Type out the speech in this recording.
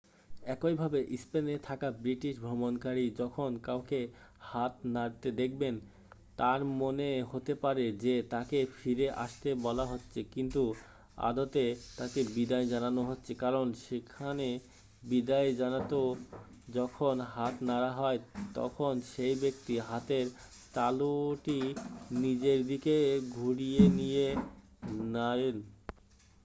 একই ভাবে স্পেনে থাকা ব্রিটিশ ভ্রমণকারী যখন কাউকে হাত নাড়তে দেখবেন তাঁর মনে হতে পারে যে তাঁকে ফিরে আসতে বলা হচ্ছে কিন্তু আদতে তাঁকে বিদায় জানানো হচ্ছে কারণ সেখানে বিদায় জানাতে যখন হাত নাড়া হয় তখন সেই ব্যক্তি হাতের তালুটি নিজের দিকে ঘুরিয়ে নিয়ে নাড়েন